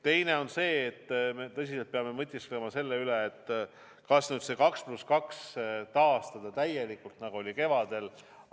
Teine asi on see, et me peame tõsiselt mõtisklema selle üle, kas nüüd see 2 + 2 taastada täielikult, nagu oli kevadel.